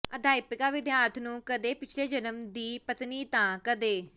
ਅਧਿਆਪਕਾ ਵਿਦਿਆਰਥਣ ਨੂੰ ਕਦੇ ਪਿਛਲੇ ਜਨਮ ਦੀ ਪਤਨੀ ਤਾਂ ਕਦੇ